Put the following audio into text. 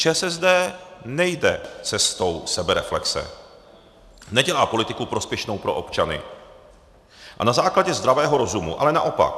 ČSSD nejde cestou sebereflexe, nedělá politiku prospěšnou pro občany a na základě zdravého rozumu, ale naopak.